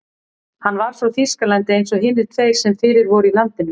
Hann var frá Þýskalandi eins og hinir tveir sem fyrir voru í landinu.